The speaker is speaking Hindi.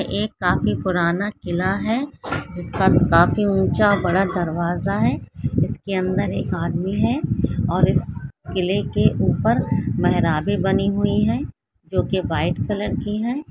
एक काफी पुराना किला है जिसका काफी ऊंचा बड़ा दरवाजा है इसके अंदर एक आदमी है और इस किले के ऊपर मेहराबे बनी हुई है जो कि व्हाइट कलर की है।